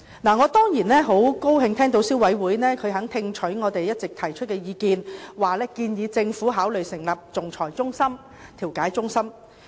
我當然樂見消委會肯聽取我們的意見，向政府建議成立仲裁和調解中心。